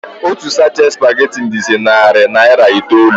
Otu sachet spaghetti dịzi narị naira itoolu.